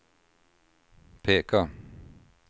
peka